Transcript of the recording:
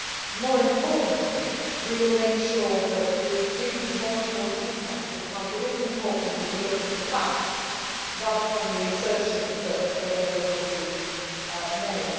But, more importantly, we will make sure that we give you more and more detail, because it is important that you look at the facts rather than the assertions that will have been made.